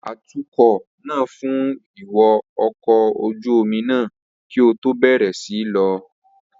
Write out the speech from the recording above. Atukọ̀ náà fun ìwo ọkọ̀ ojú omi náà kí ó tó bẹ̀rẹ̀ sí í lọ.